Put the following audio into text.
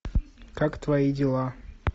как твои дела